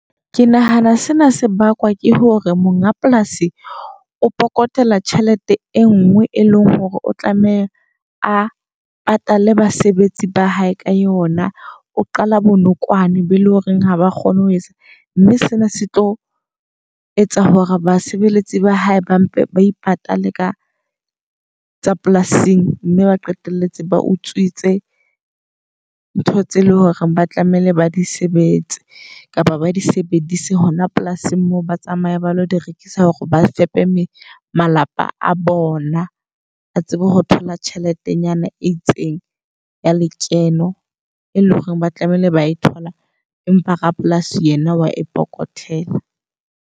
Ke nahana sena se bakwa ke hore monga polasi o phokotela tjhelete e ngwe e leng hore o tlameha a patale basebetsi ba hae ka yona. O qala bonokwane be le horeng ha ba kgone ho etsa mme sena se tlo etsa hore basebeletsi ba hae ba mpe ba ipatalle ka tsa polasing. Mme ba qetelletse ba utswitse ntho tse leng hore ba tlamehile ba di sebetse kapa ba di sebedise hona polasing mo ba tsamaya ba lo di rekisa. Hore ba fepe me malapa a bona ba tsebe ho thola tjheletenyana e itseng ya lekeno. E leng hore ba tlamehile ba e thola empa rapolasi yena wa e phokotela.